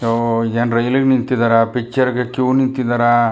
ಓ ಏನ್ ರೈಲ್ ಗೆ ನಿಂತಿದ್ದಾರಾ ಪಿಕ್ಚರ್ ಗೆ ಕ್ಯೂ ನಿಂತಿದ್ದಾರಾ.